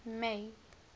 may